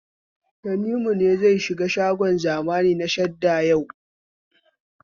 Tanimu ne zai shiga shagon zamani na Sahad yau?